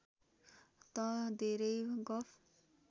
तँ धेरै गफ